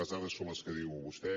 les dades són les que diu vostè